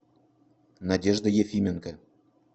надежда ефименко